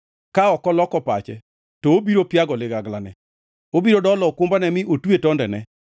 Ka ok oloko pache to obiro piago liganglane; obiro dolo okumbane mi otwe tondene.